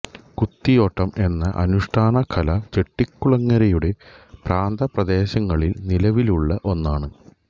കുത്തിയോട്ടം എന്ന അനുഷ്ഠാന കല ചെട്ടികുളങ്ങരയുടെ പ്രാന്തപ്രദേശങ്ങളിൽ നിലവിലുള്ള ഒന്നാണ്